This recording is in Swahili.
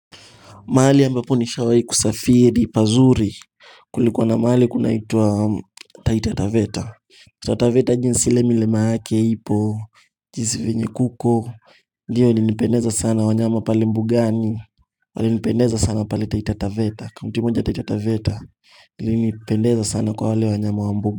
Mahali ambapo nishawahi kusafiri pazuri Kulikuwa na mahali kunaitwaa Taitataveta Taitataveta jinsi ile milima yake ipo jinsi venye kuko Ndiyo ilinipendeza sana wanyama pale mbugani Walinipendeza sana pale taitataveta kaunti moja taitataveta Ilinipendeza sana kwa wale wanyama wa mbuga.